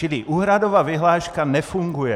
Čili úhradová vyhláška nefunguje.